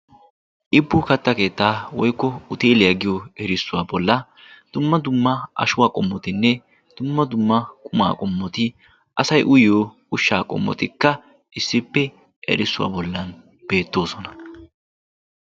Ibbu katta keettaa woykko uteeliyaa giyo erissuwaa bolla dumma dumma ashuwaa qommotinne dumma dumma qumaa qommoti asay uyyo ushshaa qommotikka issippe erissuwaa bollan beettoosona.